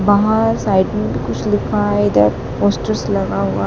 बाहर साइड में भी़ कुछ लिखा हैं इधर पोस्टर्स लगा हुआ--